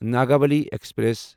Nagavali express